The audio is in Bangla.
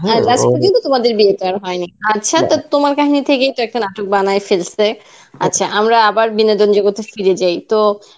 হ্যাঁ last পর্যন্ত তোমাদের বিয়েটা আর হয়নি আচ্ছা তোমার কাহিনী থেকেই তো একটা নাটক বানায়ে ফেলসে. আচ্ছা আমরা আবার বিনোদন জগতে ফিরে যাই তো,